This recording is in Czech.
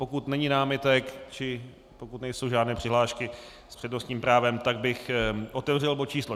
Pokud není námitek či pokud nejsou žádné přihlášky s přednostním právem, tak bych otevřel bod číslo